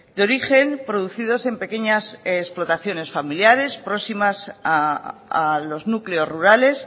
de origen producidos en pequeñas explotaciones familiares próximas a los núcleos rurales